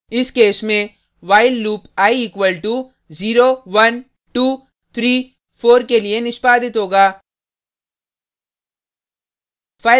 इस केस में while loop i equal to 0 1 2 3 4 के लिए निष्पादित होगा